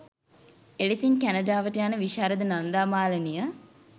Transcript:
එලෙසින් කැනඩාවට යන විශාරද නන්දා මාලනිය